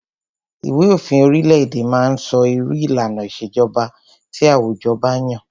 Ìwé òfin orile-èdè má ń sọ irú ìlànà ìṣèjọba tí àwùjọ ba yàn.